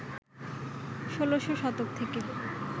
১৬শ শতক থেকে